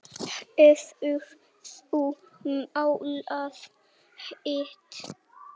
Hefurðu málað hitt?